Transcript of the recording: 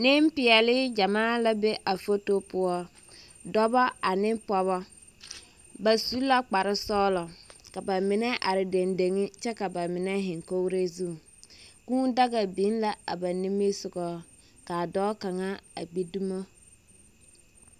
Nempeԑle gyamaa la be a foto poͻ, dͻbͻ ane pͻgebͻ. Ba su la kpare sͻgelͻ ka ba mine are dendeŋe kyԑ ka ba mine zeŋ kogiri zu. Kũũ daga biŋ la a ba nimbisogo, kaa dͻͻ kaŋa a gbi dumo.